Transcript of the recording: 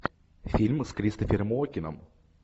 фильмы с кристофером уокеном